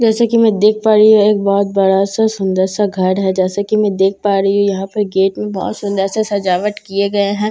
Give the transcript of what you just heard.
जैसा कि मैं देख पा रही हूँ एक बहुत बड़ा सा सुंदर सा घर है जैसा कि मैं देख पा रही हूँ यहाँ पर गेट में बहुत सुंदर सा सजावट किए गये है ज--